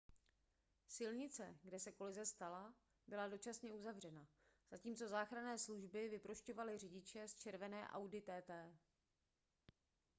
silnice kde se kolize stala byla dočasně uzavřena zatímco záchranné služby vyprošťovaly řidiče z červené audi tt